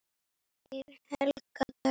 Þín Helga Dögg.